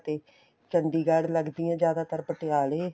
ਤੇ ਚੰਡੀਗੜ੍ਹ ਲੱਗਦੀਆਂ ਜਿਆਦਾਤਰ ਪਟਿਆਲੇ